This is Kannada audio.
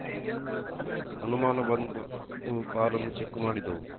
ಅನುಮಾನ ಬಂದು ಕಾರನ್ನು ಚೆಕ್‌ ಮಾಡಿದೆವು